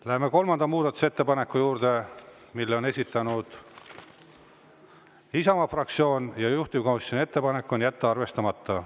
Läheme kolmanda muudatusettepaneku juurde, mille on esitanud Isamaa fraktsioon, juhtivkomisjoni ettepanek on jätta arvestamata.